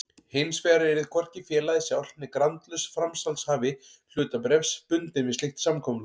Hinsvegar yrði hvorki félagið sjálft né grandlaus framsalshafi hlutabréfs bundinn við slíkt samkomulag.